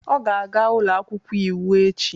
Ọ ga-aga ụlọ akwụkwọ iwu echi